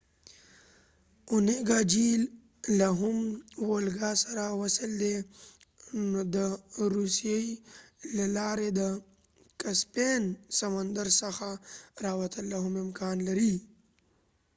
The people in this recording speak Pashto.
اونيګا جهيل له هم وولګا سره وصل دی نو د روسیې له لارې د کسپین سمندر څخه راوتل لاهم امکان لري